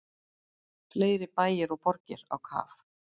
Fleiri bæir og borgir á kaf